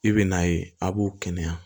I bɛ n'a ye a b'u kɛnɛya